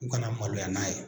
U kana maloya n'a ye